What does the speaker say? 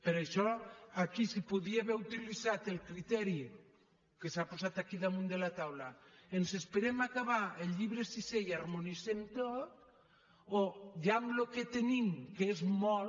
per això aquí es podia haver utilitzat el criteri que s’ha posat aquí damunt de la taula ens esperem a acabar el llibre sisè i ho harmonitzem tot o ja amb el que tenim que és molt